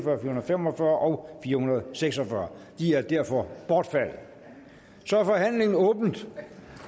fem og fyrre fire hundrede og seks og fyrre de er derfor bortfaldet så er forhandlingen er åbnet